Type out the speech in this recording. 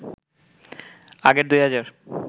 আগের ২ হাজার